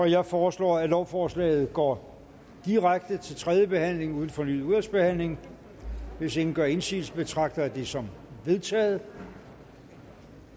jeg foreslår at lovforslaget går direkte til tredje behandling uden fornyet udvalgsbehandling hvis ingen gør indsigelse betragter jeg det som vedtaget